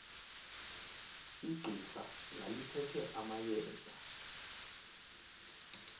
igqira laliphethe amayeza